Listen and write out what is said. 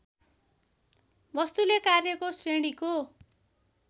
वस्तुले कार्यहरूको श्रेणीको